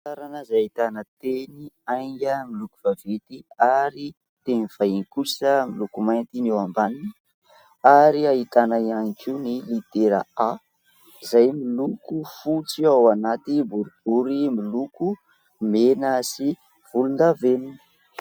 Famantarana izay ahitana teny "ainga" miloko vaventy ary teny vahiny kosa miloko mainty eo ambaniny, ary ahitana ihany koa ny litera "a" izay miloko fotsy ao anaty boribory miloko mena sy volondavenona.